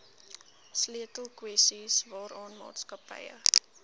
sleutelkwessies waaraan maatskappye